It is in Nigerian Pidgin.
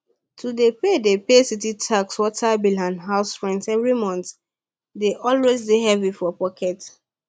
to dey pay dey pay city tax water bill and house rent every month d always dey heavy for pocket